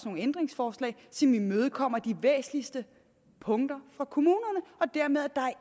nogle ændringsforslag som imødekommer de væsentligste punkter for kommunerne dermed er der